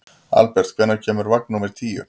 Albert, hvenær kemur vagn númer tíu?